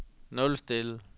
nulstil